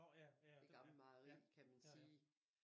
Det gamle mejeri kan man sige